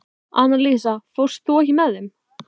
Annalísa, ekki fórstu með þeim?